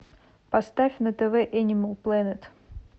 поставь на тв энимал планет